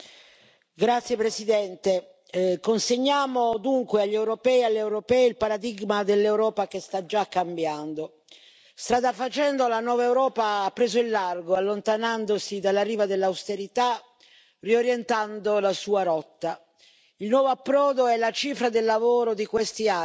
Signor Presidente, onorevoli colleghi consegniamo dunque agli europei e alle europee il paradigma dell'Europa che sta già cambiando. Strada facendo la nuova Europa ha preso il largo allontanandosi dalla riva dell'austerità riorientando la sua rotta. Il nuovo approdo è la cifra del lavoro di questi anni.